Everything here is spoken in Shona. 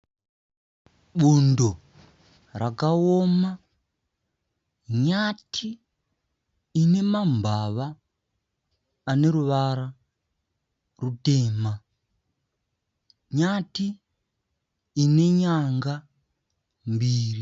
Bundo rakaoma. Nyati ine mambava ane ruvara rutema .Nyati ine nyanga mbiri.